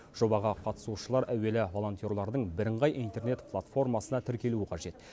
жобаға қатысушылар әуелі волонтерлердің бірыңғай интернет платформасына тіркелуі қажет